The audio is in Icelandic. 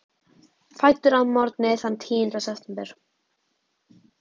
Fæddur að morgni þann tíunda september.